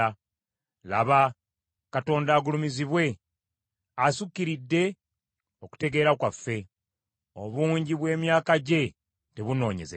Laba, Katonda agulumizibwe! Assukiridde okutegeera kwaffe; obungi bw’emyaka gye tebunoonyezeka.